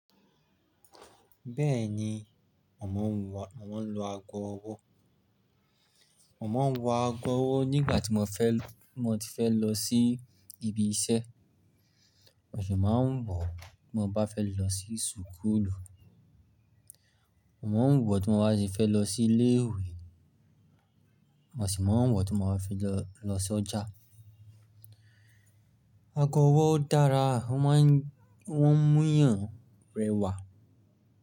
Bẹ́ẹ̀ni, màá ń lo ago ọwọ́. Màá ń wọ ago ọwọ́ nígbà tí mo fẹ́ lọ sí ibi iṣẹ́, mà sì máa ń bọ̀ tí mo bá fẹ́ lọ sí súkúlù. Màá ń wọ̀ tí mo bá fẹ́ lọ sí ilé ìwé, mà sì máa ń bọ̀ tí mo bá fẹ́ lọ sí ọjà. Ago ọwọ́ dára, wọ́n ń múyàn rẹwà.